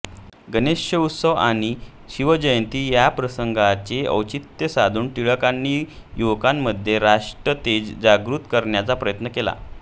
गणेशोत्सव आणि शिवजयंती या प्रसंगांचे औचित्य साधून टिळकांनी युवकांमध्ये राष्ट्रतेज जागृत करण्याचा प्रयत्न केला